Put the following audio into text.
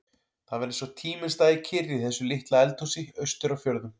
Það var eins og tíminn stæði kyrr í þessu litla eldhúsi austur á fjörðum.